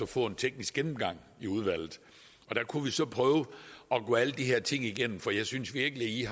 få en teknisk gennemgang i udvalget og der kunne vi så prøve at gå alle de her ting igennem for jeg synes virkelig